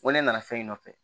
Wa ne nana so in nɔfɛ